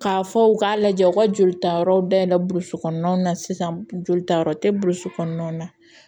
K'a fɔ u k'a lajɛ u ka joli ta yɔrɔ dayɛlɛn burusi kɔnɔnaw na sisan jolitayɔrɔ tɛ burusi kɔnɔna na